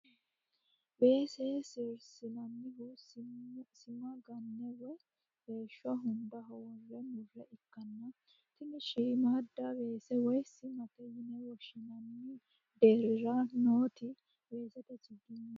weese sirsinannihu sima ganne woyi weeshsho hundaho worre murre ikkanna, tini shiimmaadda weese woy simate yine woshshinanni deerira nooti weesete chiginyeeti.